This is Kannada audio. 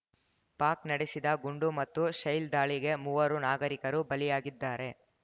ಪಾಕ್‌ ನಡೆಸಿದ ಗುಂಡು ಮತ್ತು ಶೆಲ್‌ ದಾಳಿಗೆ ಮೂವರು ನಾಗರಿಕರು ಬಲಿಯಾಗಿದ್ದಾರೆ